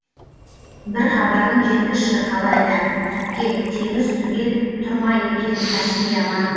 бір хабарын жеткізші қалай да әпке теңіз түгел тұр ма екен каспий аман